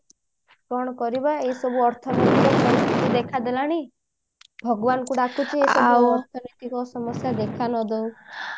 କଣ କରିବା ଏସବୁ ଅର୍ଥ ଦେଖା ଦେଲାଣି ଭଗବାନଙ୍କୁ ଡାକୁଛି ସମସ୍ଯା ଦେଖା ନ ଦଉ